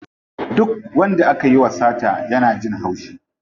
Duk wanda akayi wa sata yana jin haushi.